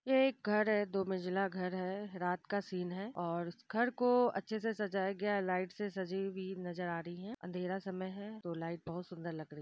ये एक घर है दो मंजिला घर है रात का सीन है और इस घर को अच्छे से सजाया गया है लाइट से सजी हुई नजर आ रही है अंधेरा समय है तो लाइट बहोत सुंदर लग रही --